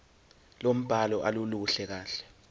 lombhalo aluluhle kahle